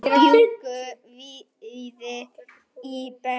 Þau bjuggu víða í bænum.